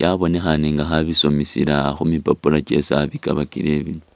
yabonekhane nga alikho abisomesela khu mipapula kyesi abikabakile.